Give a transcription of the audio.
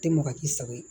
Tɛ maga k'i sago ye